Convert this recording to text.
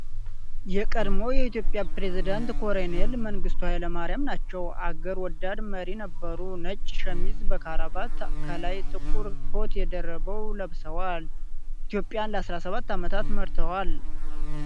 የቀድሞዉ የኢትዮጵያ ፕሬዘዳንት ኮረኔል መንግስቱ ኃይለማርያም ናቸዉ። አገር ወዳድ መሪ ነበሩ። ነጭ ሸሚዝ በካራባት ከላይ ጥቁር ኮት ደርበዉ ለብሰዋል። ኢትዮጵያን ለ17 ዓመታት መርተዋል።